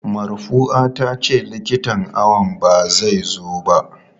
Marfua tace likitan awon ba zai zo ba.